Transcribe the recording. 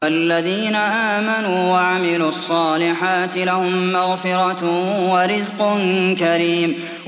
فَالَّذِينَ آمَنُوا وَعَمِلُوا الصَّالِحَاتِ لَهُم مَّغْفِرَةٌ وَرِزْقٌ كَرِيمٌ